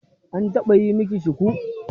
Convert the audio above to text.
An taɓa yi miki shuku?